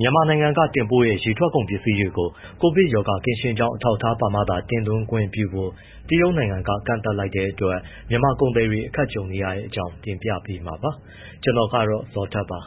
မြန်မာနိုင်ငံက တင်ပို့တဲ့ ရေထွက်ကုန်ပစ္စည်းတွေကို ကိုဗစ်ရောဂါပိုး ကင်းရှင်းကြောင်း အထောက်အထားပါမှသာ တင်သွင်းခွင့်ပြုဖို့ တရုတ်နိုင်ငံက ကန့်သတ်လိုက်တဲ့အတွက် မြန်မာကုန်သည်တွေ အခက်ကြုံနေတဲ့အကြောင်း တင်ပြပေးမှာပါ။ ဗွီအိုအေမြန်မာပိုင်းသတင်းထောက် ကိုဇော်ထက်က သတင်းပေးပို့ထားပါတယ်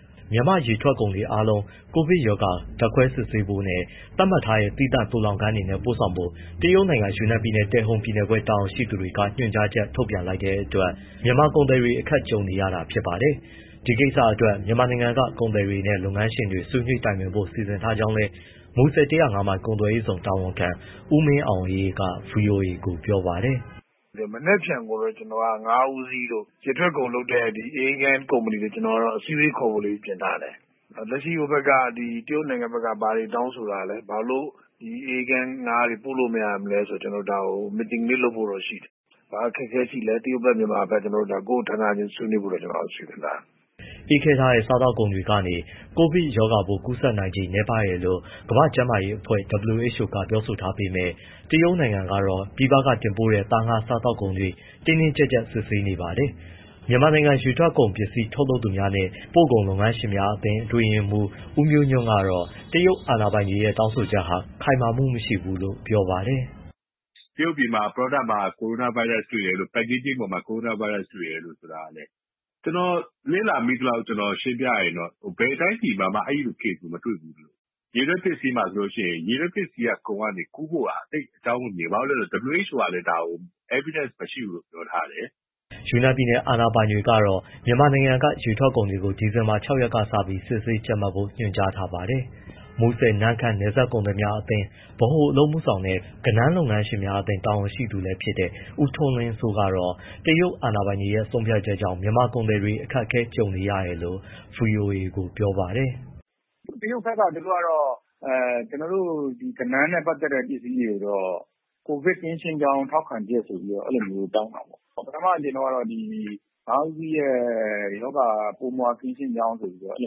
။ မြန်မာ့ရေထွက်ကုန်တွေအားလုံး ကိုဗစ်ရောဂါ ဓာတ်ခွဲစစ်ဆေးဖို့နဲ့ သတ်မှတ်ထားတဲ့ သီးသန့်သိုလှောင်ခန်းတွေနဲ့ ပို့ဆောင်ဖို့ တရုတ်နိုင်ငံ ယူနန်ပြည်နယ် တယ်ဟုတ်ပြည်နယ်ခွဲ တာဝန်ရှိသူတွေက ညွှန်ကြားချက် ထုတ်ပြန်လိုက်တဲ့အတွက် မြန်မာကုန်သည်တွေ အခက်အခဲ ကြုံနေရတာ ဖြစ်ပါတယ်။ ဒီကိစ္စအတွက် မြန်မာနိုင်ငံက ကုန်သည်တွေနဲ့ လုပ်ငန်းရှင်တွေ ဆွေးနွေးတိုင်ပင်ဖို့ စီစဉ်ထားကြောင်းလည်း မူဆယ် ၁၀၅ မိုင် ကုန်သွယ်ရေးဇုန်တာဝန်ခံ ဦးမင်းအောင်အေးက ဗွီအိုအေကို ပြောပါတယ်။ “မနက်ဖြန်တော့ ကျနော်က ငါးဦးစီးတို့ ရေထွက်ကုန်လုပ်တဲ့ အအေးခန်းကုမ္ပဏီကို ကျနော်က အစည်းအဝေးခေါ်ဖို့ ပြင်ထားတယ်။ လက်ရှိ ဟိုဘက်က တရုတ်နိုင်ငံဘက်က ဘာတွေတောင်းဆိုတာလဲ၊ ဘာလို့အေးခဲငါးတွေ ပို့လို့မရတာလဲဆိုတာ ကျနော်တို့ဒါကို meeting လေးလုပ်ဖို့ ရှိတယ်။ ဘာအခက်အခဲရှိလဲ တရုတ်ဘက်၊ မြန်မာဘက်၊ ဒါကိုယ့်ဌာနချင်း ဆွေးနွေးဖို့ ကျနော်တို့ စီစဉ်ထားတယ်။” အေးခဲထားတဲ့ စားသောက်ကုန်တွေကနေ ကိုဗစ်ရောဂါပိုး ကူးစက်နိုင်ခြေ နည်းပါးတယ်လို့ ကမ္ဘာ့ကျန်းမာရေးအဖွဲ့ (WHO) က ပြောဆိုထားပေမဲ့ တရုတ်နိုင်ငံကတော့ ပြည်ပကတင်ပို့တဲ့ သား၊ ငါး၊ စားသောက်ကုန်တွေကို တင်းတင်းကြပ်ကြပ် စစ်ဆေးနေပါတယ်။ မြန်မာနိုင်ငံ ရေထွက်ကုန်ပစ္စည်း ထုတ်လုပ်သူများနှင့် ပို့ကုန်လုပ်ငန်းရှင်များအသင်း အတွင်းရေးမှူး ဦးမျိုးညွှန့်ကတော့ တရုတ်အာဏာပိုင်တွေရဲ့ တောင်းဆိုချက်ဟာ ခိုင်မာမှုမရှိဘူးလို့ ပြောပါတယ်။ “တရုတ်ပြည်မှာ product မှာ ကိုရိုနာဗိုင်းရပ်စ် packaging ပေါ်မှာ coronavirus တွေ့တယ်ဆိုတာ ကျနော်လေ့လာမိသလောက် ရှင်းပြရရင် ဘယ်တိုင်းပြည်မှာမှ အဲဒီလို case မျိုး မတွေ့ဖူးဘူး။ ရေထွက်ပစ္စည်းမှာဆိုရင် ရေထွက်ပစ္စည်းကုန်ကနေ ကူးဖို့ရာ သိပ်အကြောင်းမမြင်ဘူး။ ဘာဖြစ်လို့လဲဆိုတော့ WHO ကလည်းဒါကို evidence (သက်သေပြဖို့) မရှိဘူးလို့ ပြောထားတယ်။” ယူနန်ပြည်နယ် အာဏာပိုင်တွေကတော့ မြန်မာနိုင်ငံက ရေထွက်ကုန်တွေကို ဒီဇင်ဘာလ ၆ ရက်ကစပြီး စစ်ဆေးကြပ်မတ်ဖို့ ညွှန်ကြားထားပါတယ်။ မူဆယ်- နမ့်ခမ်း နယ်စပ်ကုန်သည်များအသင်း ဗဟိုအလုပ်အမှုဆောင်နဲ့ ကဏန်း လုပ်ငန်းရှင်များအသင်း တာဝန်ရှိသူလည်းဖြစ်တဲ့ ဦးထွန်းလင်းစိုးကတော့ တရုတ်အာဏာပိုင်တွေရဲ့ ဆုံးဖြတ်ချက်ကြောင့် မြန်မာကုန်သည်တွေအတွက် အခက်အခဲတွေ ကြုံနေရတယ်လို့ ဗွီအိုအေကိုပြောပါတယ်။ “တရုတ်ဘက်ကတော့ ကျနော်တို့ ကဏန်းနဲ့ ပတ်သက်တဲ့ ပစ္စည်းတွေကိုတော့ ကိုဗစ်ကင်းရှင်းကြောင်း ထောက်ခံချက်ဆိုပြီး အဲလိုတောင်းတာပေါ့။ ပထမအကြိမ်တုန်းကတော့ ငါးဦးစီးရဲ့ ရောဂါပိုးမွှား ကင်းရှင်းကြောင်းဆိုပြီးတော့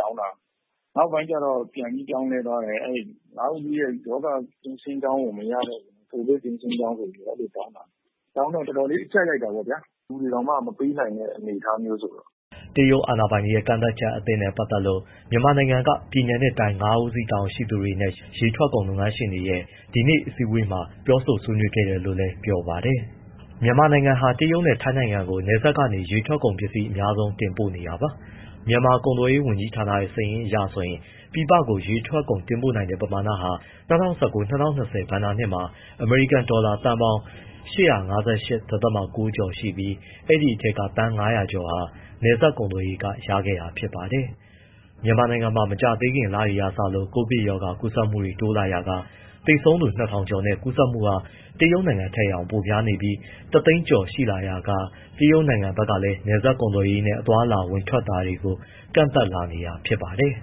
တောင်းတာ။ နောက်ပိုင်းကျ ပြန်ပြီး ပြောင်းလဲသွားတယ်။ ငါးဦးစီးရဲ့ ရောဂါကင်းရှင်းကြောင်းကို မရတော့ဘူး။ ကိုဗစ်ကင်းရှင်းကြောင်းဆိုပြီး တောင်းတာ။ တောင်းတော့ အတော်လေး အကြပ်ရိုက်တာပေါ့ဗျာ၊ လူတွေတောင်မှ မပေးနိုင်တဲ့ အနေအထားမျိုးဆိုတော့။” တရုတ်အာဏာပိုင်တွေရဲ့ ကန့်သတ်ချက်အသစ်နဲ့ ပတ်သက်လို့ မြန်မာနိုင်ငံက ပြည်နယ်နဲ့တိုင်း ငါးဦးစီးတာဝန်ရှိသူတွေနဲ့ ရေထွက်ကုန်လုပ်ငန်းရှင်တွေရဲ့ ဒီနေ့အစည်းအဝေးမှာ ဆွေးနွေးခဲ့တယ်လို့လည်းပြောပါတယ်။ မြန်မာနိုင်ငံဟာ တရုတ်နဲ့ ထိုင်းနိုင်ငံကို နယ်စပ်ကနေ ရေထွက်ကုန်ပစ္စည်း အများဆုံး တင်ပို့နေတာပါ။ မြန်မာကုန်သွယ်ရေး ဝန်ကြီးဌာနရဲ့ စာရင်းအရ ပြည်ပကို ရေထွက်ကုန်တင်ပို့နိုင်တဲ့ ပမာဏဟာ ၂၀၁၉- ၂၀၂၀ ဘဏ္ဍာနှစ်မှာ အမေရိကန်ဒေါ်လာ သန်းပေါင်း ၈၅၈.၉ ကျော်ရှိပြီး အဲဒီအထဲက သန်း ၅၀၀ ကျော်ဟာ နယ်စပ်ကုန်သွယ်ရေးက ရခဲ့တာပါ။ မြန်မာနိုင်ငံမှာ မကြာသေးခင်လတွေကစလို့ ကိုဗစ်ကပ်ရောဂါ ကူးစက်မှုတွေ တိုးလာရာက သေဆုံးသူ ၂,၀၀၀ ကျော်နဲ့ ကူးစက်မှုဟာ တရုတ်နိုင်ငံထက်တောင် ပိုများပြီး ၁၀၀,၀၀၀ ကျော် ရှိလာရာက တရုတ်နိုင်ငံဘက်ကလည်း နယ်စပ်ကုန်သွယ်ရေးနဲ့ သွားလာဝင်ထွက်တာတွေကို ကန့်သတ်လာနေတာ ဖြစ်ပါတယ်။